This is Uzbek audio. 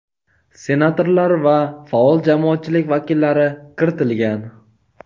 senatorlar va faol jamoatchilik vakillari kiritilgan.